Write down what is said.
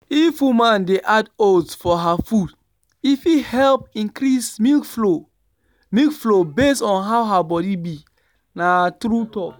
if woman de add oats for her food e fit help increase milk flow milk flow based on how her body be. na true talk.